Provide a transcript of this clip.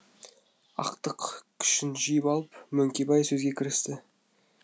ақтық күшін жиып алып мөңкебай сөзге кірісті